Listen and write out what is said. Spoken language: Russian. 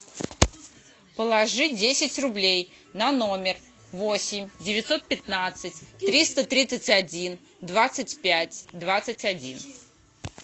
положить десять рублей на номер восемь девятьсот пятнадцать триста тридцать один двадцать пять двадцать один